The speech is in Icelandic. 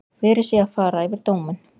Verið sé að fara yfir dóminn